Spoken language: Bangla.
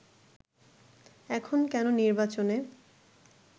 এখন কেন নির্বাচনে